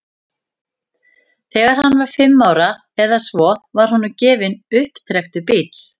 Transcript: Þegar hann var fimm ára eða svo var honum gefinn upptrekktur bíll.